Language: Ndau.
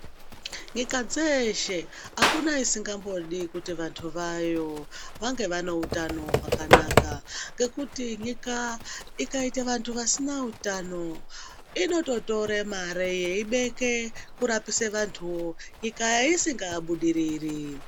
Nyika dzeeshe, akuna isingambodi kuti vantu vayo ,vange vane utano hwakanaka, ngekuti nyika ikaite vantu vasina utano, inototore mare yeibeke kurapise vantu, nyika isingabudiriri.